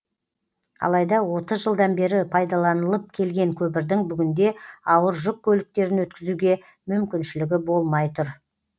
алайда отыз жылдан бері пайдаланылып келген көпірдің бүгінде ауыр жүк көліктерін өткізуге мүмкіншілігі болмай тұр